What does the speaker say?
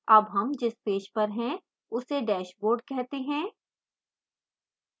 अब हम जिस पेज पर हैं उसे dashboard कहते हैं